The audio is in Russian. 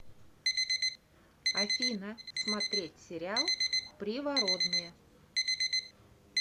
афина смотреть сериал привородные